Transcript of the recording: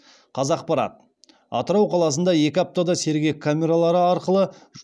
қазақпарат атырау қаласында екі аптада